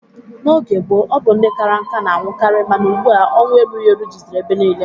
N'oge gboo, ọ bụ ndị kara nká na-anwụkarị mana ugbu a ọnwụ erughi eru juziri ebe niile.